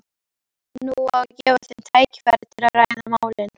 Nú á að gefa þeim tækifæri til að ræða málin.